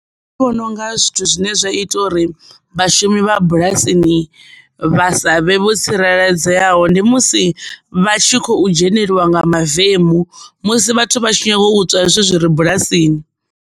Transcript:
Nṋe ndi vhona unga zwithu zwine zwa ita uri vhashumi vha bulasini vha sa vhe vho tsireledzeaho ndi musi vhatshi khou dzhenelwa nga mavemu musi vhathu vha tshi nyaga u ṱuwa zwithu zwi re bulasini.